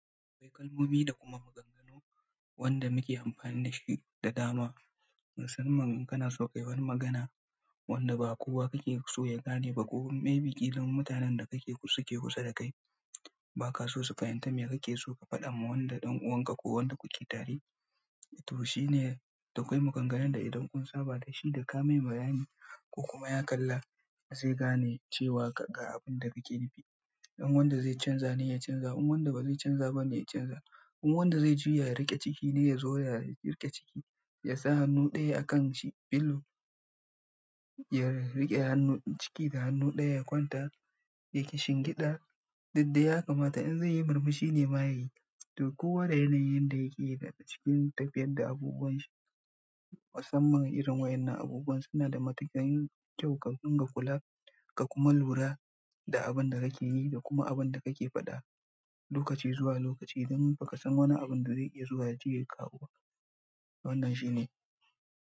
Akwai kalmomi da kuma maganganu wanda muke amfani da shi da dama. Musamman in kana so ka yi wani magana wanda ba kowa kake so ya gane ba ko myby ƙila in mutanen da kake suke kusa da kai, ba ka so su fahimta me kake so ka faɗa ma wanda ɗan uwanka ko wanda kuke tare. To shi ne da koi maganganu idan kun saba su daka mai bayani ko kuma ya kalla zai gane cewa ga abun da kake nufi in wanda zai canza ne, ya canza. In wanda ba zai canza ba ne, ya canza. In wanda zai juya ya riƙe ciki ne, ya zo ya riƙe ciki, ya sa hannu ɗaya a kan shi, filo ya riƙe hannun ciki da hannu ɗaya, ya kwanta yake shingiɗa, duk da ya kamata in zai yi murmushi ne ma ya yi. To kowa da yanayi yanda yake daga cikin tafiyar da abubuwan shi. Musamman irin wayen nan abubuwan suna da matuƙan kyau ka dinga kula ka kuma lura da abun da kake yi da kuma abun da kake faɗa lokaci zuwa lokaci don ba ka san wane abin da zai iya zuwa yaje ya kawo ba. Wannan shi ne.